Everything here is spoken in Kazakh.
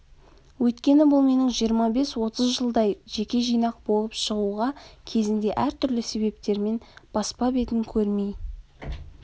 өйткені бұл менің жиырма бес отыз жылдай жеке жинақ болып шығуға кезінде әртүрлі себептермен баспа бетін көрмей